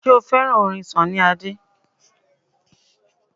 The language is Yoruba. Ṣé o fẹ́ràn orin Sunny Adé?